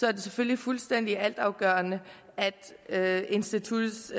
er det selvfølgelig fuldstændig altafgørende at instituttets